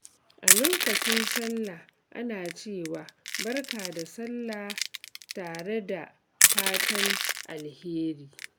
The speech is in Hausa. A lokacin Sallah, ana cewa "Barka da Sallah" tare da fatan alheri.